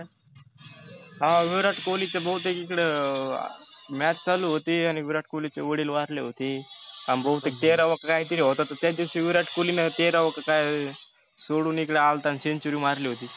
हा विराट कोल्हीचे बहुतेक इकड match चालू होती आणि विराट कोल्हीचे वडील वारले होते. बहितेक तेरावा की काहितरी होता तर त्या दिवशी विराटनं तेराव क काय सोडुन इकड आलता अन century मरली होती